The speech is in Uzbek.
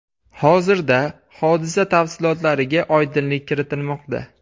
Hozirda hodisa tafsilotlariga oydinlik kiritilmoqda.